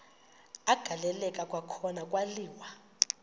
agaleleka kwakhona kwaliwa